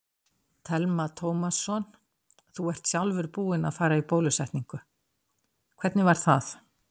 Telma Tómasson: Þú ert sjálfur búinn að fara í bólusetningu, hvernig var það?